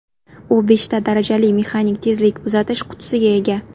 U beshta darajali mexanik tezlik uzatish qutisiga ega.